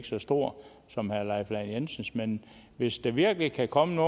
så stor som herre leif lahn jensens men hvis der virkelig kan komme